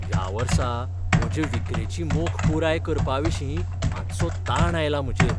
ह्या वर्सा म्हजे विक्रेची मोख पुराय करपाविशीं मातसो ताण आयला म्हजेर.